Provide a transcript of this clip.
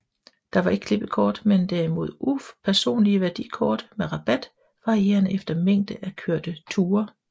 Der var ikke klippekort men derimod upersonlige værdikort med rabat varierende efter mængden af kørte ture